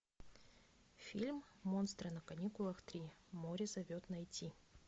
фильм монстры на каникулах три море зовет найти